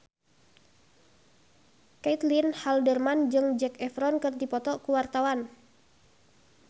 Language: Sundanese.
Caitlin Halderman jeung Zac Efron keur dipoto ku wartawan